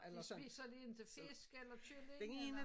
De spiser de ikke fisk eller kylling eller?